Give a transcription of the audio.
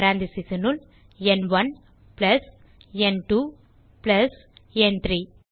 parenthesesனுள் ந்1 பிளஸ் ந்2 பிளஸ் ந்3